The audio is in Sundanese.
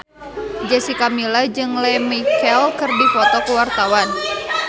Jessica Milla jeung Lea Michele keur dipoto ku wartawan